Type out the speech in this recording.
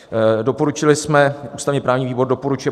Doporučili jsme: "Ústavně-právní výbor doporučuje